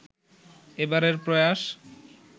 এবারের প্রয়াস